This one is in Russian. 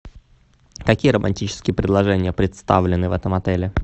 какие романтические предложения представлены в этом отеле